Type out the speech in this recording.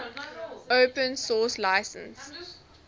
open source license